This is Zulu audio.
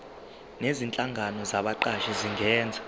nezinhlangano zabaqashi zingenza